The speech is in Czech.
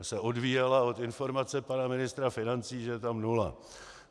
Ta se odvíjela od informace pana ministra financí, že je tam nula.